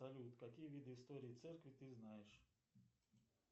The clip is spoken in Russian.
салют какие виды истории церкви ты знаешь